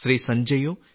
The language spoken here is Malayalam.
സഞ്ജയോ ശ്രീ